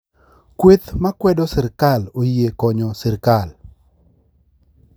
kweth ma kwedo sirkal oyie konyo sirkal